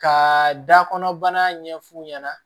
Ka da kɔnɔ bana ɲɛf'u ɲɛna